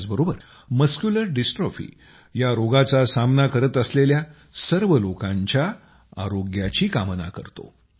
त्याचबरोबर muscular dystrophy या रोगाचा सामना करत असलेल्या सर्व लोकांच्या आरोग्याची कामना करतो